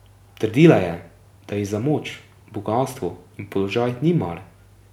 Trdila je, da ji za moč, bogastvo in položaj ni mar.